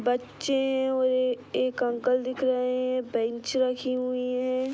बच्चे है एक अंकल दिख रहे है। बेंच रखी हुई है।